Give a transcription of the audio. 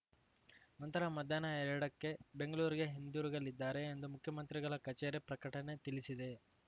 ನಂತರ ಮಧ್ಯಾಹ್ನ ಎರಡಕ್ಕೆ ಬೆಂಗಳೂರಿಗೆ ಹಿಂದಿರುಗಲಿದ್ದಾರೆ ಎಂದು ಮುಖ್ಯಮಂತ್ರಿಗಳ ಕಚೇರಿ ಪ್ರಕಟಣೆ ತಿಳಿಸಿದೆ